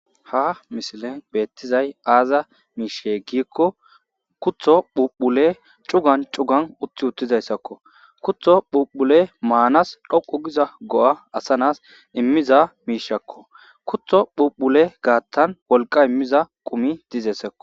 Ha missilen bethizay azza mishshe gikko kuththo phuphulle cuggan cuggan utti uttizayssakko. Kuththo phuphulle manass dhoqqu gizza goo' assa naa'ss imizza mishshakko. Kuththo phuphulle gathan wolqqa immizza qumi dizzessekko.